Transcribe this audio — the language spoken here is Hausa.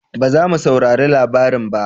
Ba za mu saurari labarin ba